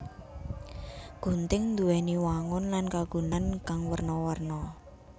Gunting nduwèni wangun lan kagunan kang werna werna